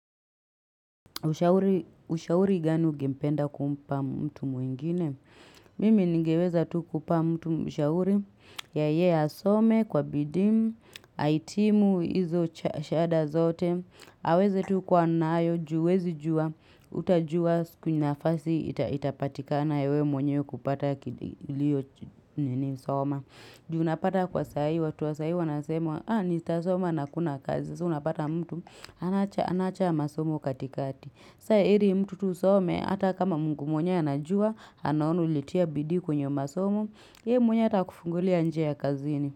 Ushauri gani gempenda kumpa mtu mwingine? Mimi ningeweza tu kumpa mtu ushauri ya ye asome kwa bidimu, aitimu, izo shada zote aweze tu kwa nayo, juwezi juwa utajua kuna fasi itapatika na yewe mwenye kupata kilio nini soma juunapata kwasaiwa, tuwasaiwa na semwa haa ni tasoma na kuna kazi, suunapata mtu Anacha masomo katikati Sae hiri mtu tusome Hata kama mungu mwenye anajua Anaonaulitia bidikwenye masomo ye mwenye atakufungulia njia ya kazini.